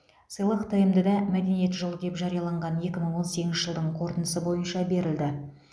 сыйлық тмд да мәдениет жылы деп жарияланған екі мың он сегізінші жылдың қорытындысы бойынша берілді